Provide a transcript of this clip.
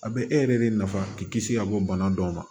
A bɛ e yɛrɛ de nafa k'i kisi ka bɔ bana dɔw ma